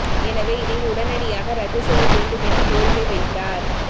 எனவே இதை உடனடியாக ரத்து செய்ய வேண்டும் என கோரிக்கை வைத்தார்